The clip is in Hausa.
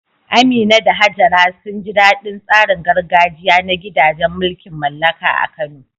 Amina da Hajara sun ji daɗin tsarin gargajiya na gidajen mulkin mallaka a Kano.